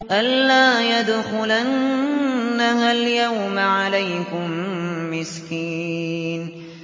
أَن لَّا يَدْخُلَنَّهَا الْيَوْمَ عَلَيْكُم مِّسْكِينٌ